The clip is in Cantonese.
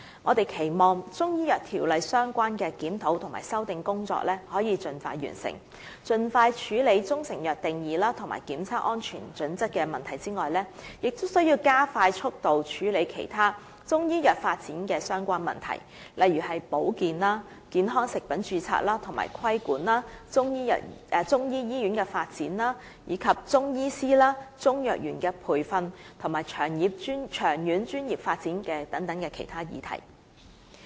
我們期望《條例》相關的檢討和修訂工作可以盡快完成，除了盡快處理中成藥定義及檢測安全準則的問題外，亦須加快速度處理其他與中醫藥發展相關的問題，例如保健、健康食品的註冊及規管、中醫醫院的發展、中藥師和中藥員的培訓，以及長遠專業發展等其他議題。